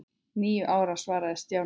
Níu ára svaraði Stjáni.